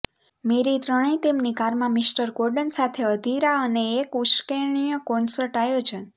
મેરી ત્રણેય તેમની કારમાં મિસ્ટર કોર્ડન સાથે અધીરા અને એક ઉશ્કેરણીય કોન્સર્ટ આયોજન